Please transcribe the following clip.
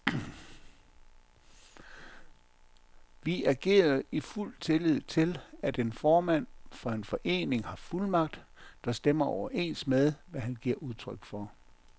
Vi agerede i fuld tillid til, at en formand for en forening har fuldmagt, der stemmer overens med, hvad han giver udtryk for.